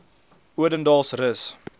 odendaalsrus